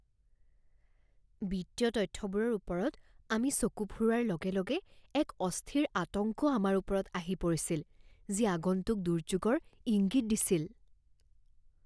বিত্তীয় তথ্যবোৰৰ ওপৰত আমি চকু ফুৰোৱাৰ লগে লগে, এক অস্থিৰ আতংক আমাৰ ওপৰত আহি পৰিছিল, যি আগন্তুক দুৰ্যোগৰ ইংগিত দিছিল।